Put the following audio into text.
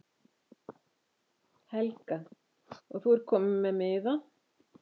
Helga: Og þú ert kominn með miða?